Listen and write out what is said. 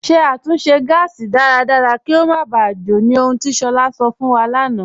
Ṣẹ̀ àtúnṣe gásì dáradára kí o má bá jò, ní ọ̀hùn ti Shola sọ̀ fún wa lánà.